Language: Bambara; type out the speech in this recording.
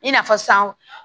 I n'a fɔ sisan